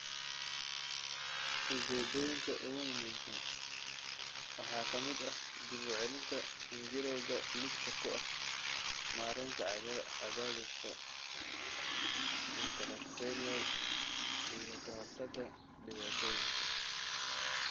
Ujeedooyinka ugu muhiimsan waxaa ka mid ah dib u celinta xinjirowga lidka ku ah, maareynta cadaadiska intracranial, iyo ka hortagga dhibaatooyinka.